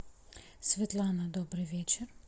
светлана добрый вечер